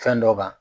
Fɛn dɔ kan